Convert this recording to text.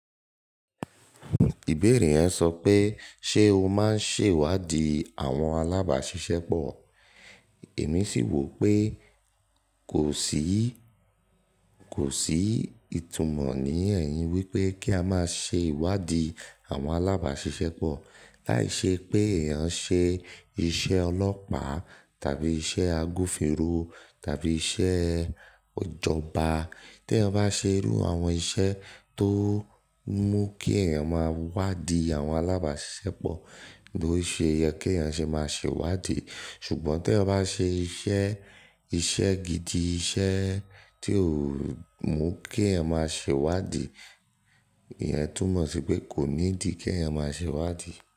Ìbéèrè yẹn sọ pé ṣe o máa ń ṣe ìwádìí àwọn alábàáṣiṣẹ́ pọ̀? Èmi sì wò pé kò sí, kò sí ìtumọ̀ ní ẹ̀yìn wípé kí a máa ṣe ìwádìí àwọn alábàáṣiṣẹ́ pọ̀. Láì ṣe pé èèyàn ṣe iṣẹ́ ọlọ́pàá tàbí iṣẹ́ agbofínrò tàbí iṣẹ́ ijọ̀bà. Tí eeyan bá ṣe irú àwọn iṣẹ́ tó mú kí eeyàn máa wádìí àwọn alábàáṣiṣẹ́ pọ̀, lo ṣe ye kí eeyàn ṣe máa ṣèwádìí. Ṣùgbọ́n tí eeyan bá n ṣe iṣẹ́, iṣẹ́ gidi, iṣẹ́ tí ò mú kí ẹ̀yàn máa ṣèwádìí, ìyẹn túmọ̀ sí pé kò nídìí kí ẹ̀yàn máa ṣèwádìí.